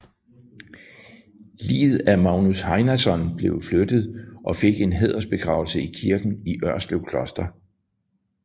Liget af Magnus Heinason blev flyttet og fik en hædersbegravelse i kirken i Ørslev Kloster